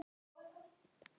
Ekki prútta!